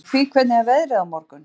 Sofie, hvernig er veðrið á morgun?